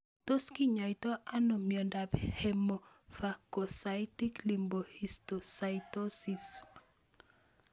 Tos kinyoitoi ano miondop hemophagocytic lymphohistiocytosis?